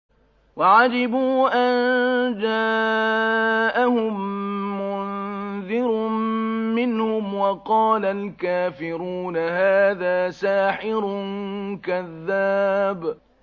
وَعَجِبُوا أَن جَاءَهُم مُّنذِرٌ مِّنْهُمْ ۖ وَقَالَ الْكَافِرُونَ هَٰذَا سَاحِرٌ كَذَّابٌ